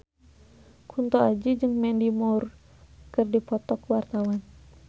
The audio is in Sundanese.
Kunto Aji jeung Mandy Moore keur dipoto ku wartawan